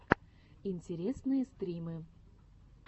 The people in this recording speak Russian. интересные стримы